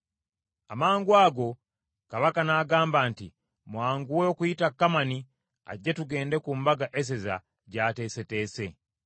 Amangwago Kabaka n’agamba nti, “Mwanguwe okuyita Kamani ajje tugende ku mbaga Eseza gyateeseteese.”